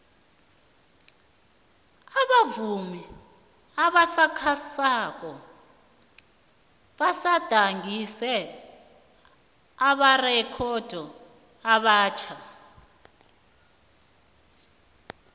abavumi abasakhasako bagadangise amarekhodo amatjha